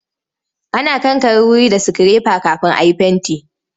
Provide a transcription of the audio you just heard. Ana kankare wuri da sikirefa kafin a yi fenti.